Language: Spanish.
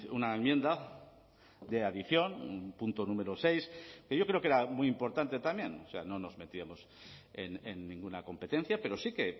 una enmienda de adición un punto número seis que yo creo que era muy importante también o sea no nos metíamos en ninguna competencia pero sí que